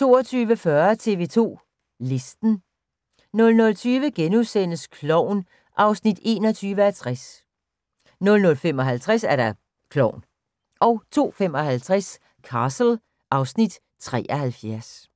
22:40: TV 2 Listen 00:20: Klovn (21:60)* 00:55: Klovn 02:55: Castle (Afs. 73)